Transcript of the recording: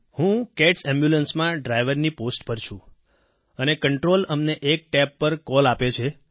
હું CATS ambulance માં driver ની પોસ્ટ પર છું અને કન્ટ્રોલ અમને એક તબ પર કોલ આપે છે